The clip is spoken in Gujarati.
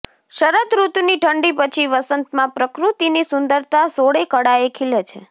શરદ ઋતુની ઠંડી પછી વસંતમાં પ્રકૃતિની સુંદરતા સોળે કળાએ ખીલે છે